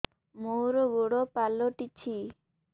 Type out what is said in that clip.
ମୋର ଗୋଡ଼ ପାଲଟିଛି